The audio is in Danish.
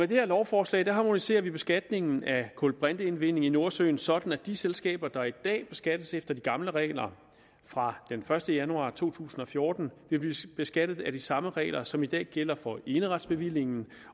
det her lovforslag harmoniserer vi beskatningen af kulbrinteindvinding i nordsøen sådan at de selskaber der i dag beskattes efter de gamle regler fra den første januar to tusind og fjorten vil blive beskattet efter de samme regler som i dag gælder for eneretsbevillingen